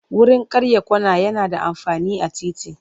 Wurin karya kwana yana da amfani a titi.